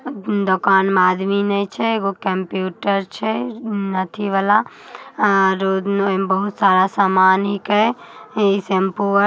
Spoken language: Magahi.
उ दुकान में आदमी ने छै एगो कंप्यूटर छै। अथी वाला उ में बहुत सारा सामान हैके। इ शैम्पू आ--.